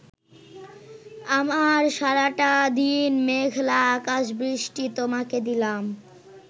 আমার সারাটা দিন মেঘলা আকাশ বৃষ্টি তোমাকে দিলাম